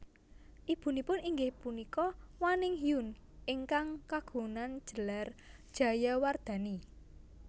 Ibunipun inggih punika Waning Hyun ingkang kagunang gelar Jayawardhani